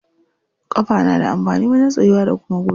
Ƙafa na da amfani wajen tsayuwa da kuma gudu.